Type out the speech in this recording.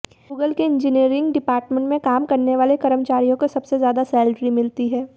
Google के engineering department में काम करने वाले कर्मचारियों को सबसे ज्यादा सैलरी मिलती है